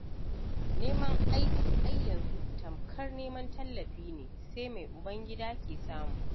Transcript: Neman aiki ai yanzu tamkar neman tallafi ne, sai mai uban- gida ke samu.